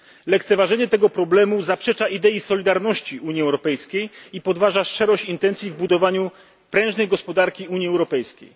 Lekceważenie tego problemu zaprzecza idei solidarności Unii Europejskiej i podważa szczerość intencji w budowaniu prężnej gospodarki Unii Europejskiej.